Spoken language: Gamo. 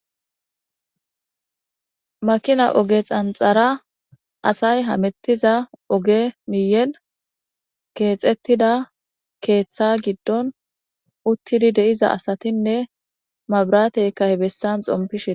Makina oge xanxara asay hamettiza oge miyel keexettida keeththa giddon uttidi de,iza asatinne mabrateykkah bessan xompishee.